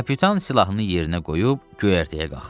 Kapitan silahını yerinə qoyub göyərtəyə qalxdı.